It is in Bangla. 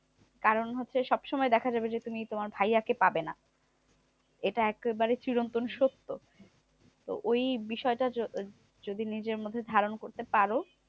কারণ হচ্ছে সবসময় দেখা যাবে যে, তুমি তোমার ভাইয়া কে পাবে না। এটা একেবারে চিরন্তন সত্য। তো ওই বিষয়টা য যদি নিজের মধ্যে ধারণ করতে পারো,